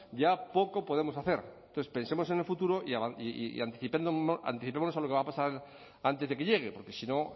ya poco podemos hacer entonces pensemos en el futuro y anticipémonos a lo que va a pasar antes de que llegue porque si no